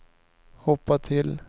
hoppa till